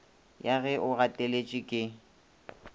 ya ge o gateletše ke